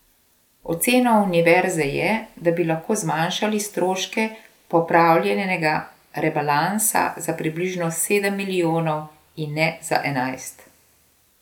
Ocena univerze je, da bi lahko zmanjšali stroške popravljenega rebalansa za približno sedem milijonov in ne za enajst.